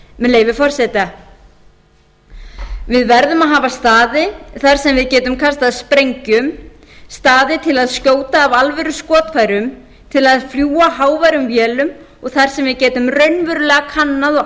með leyfi forseta við verðum að hafa staði þar sem við getum kastað sprengjum staði til að skjóta með alvöruskotfærum til að fljúga háværum vélum og þar sem við